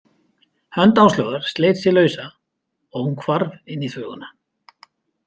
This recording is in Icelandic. Hönd Áslaugar sleit sig lausa og hún hvarf inn í þvöguna.